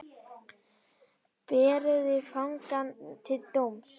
Berið fangann til dóms.